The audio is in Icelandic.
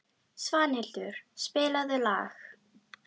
Svanhildur, spilaðu lag.